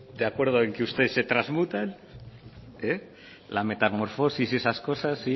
de acuerdo en que usted se transmuta la metamorfosis y esas cosas